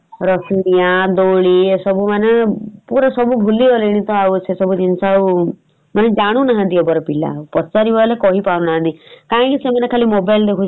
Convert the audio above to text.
ରସି ଡିଆଁ ଦୋଳି ଏସବୁ ମାନେ ପୁରା ସବୁ ଭୁଲିଗଲେଣି ତ ଆଉ ସେସବୁ ଜିନିଷ ଆଉ ମାନେ ଜାଣିନାହାନ୍ତି ଏବାର ପିଲା ପଚାରିବା ହେଲେ କହିପାରୁନାହାନ୍ତି କାଇଁକି ସେମାନେ ଖାଲି mobile ଦେଖୁଛନ୍ତି ।